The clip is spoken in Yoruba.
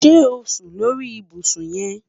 Ṣe o sun lori ibusun yẹn?